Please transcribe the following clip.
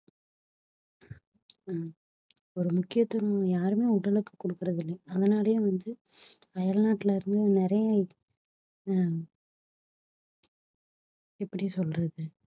அஹ் ஒரு முக்கியத்துவம் யாருமே உடலுக்கு குடுக்கிறதில்லை அதனாலேயே வந்து அயல் நாட்டிலிருந்து நிறைய அஹ் எப்படி சொல்றது